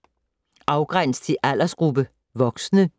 4. Afgræns til aldersgruppe: voksne